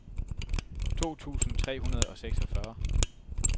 to tusind tre hundrede og seksogfyrre